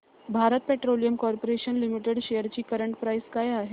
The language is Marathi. Bharat petroleum corporation limited shares ची करंट प्राइस काय आहे